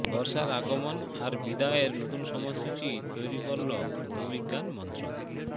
বর্ষার আগমন আর বিদায়ের নতুন সময়সূচি তৈরি করল ভূবিজ্ঞান মন্ত্রক